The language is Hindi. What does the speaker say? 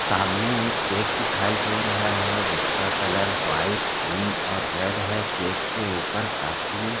सामने एक केक दिखाई दे रहा हैं जिसका कलर व्हाइट क्रीम और रेड हैं केक के ऊपर काफी--